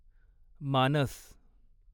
मानस